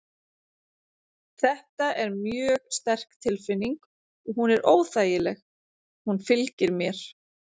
Þetta er mjög sterk tilfinning og hún er óþægileg. hún fylgir mér.